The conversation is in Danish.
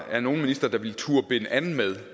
er nogen minister der ville turde binde an med